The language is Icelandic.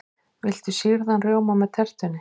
Viltu sýrðan rjóma með tertunni?